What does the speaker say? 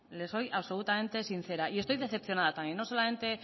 l soy absolutamente sincera y estoy decepcionada también no solamente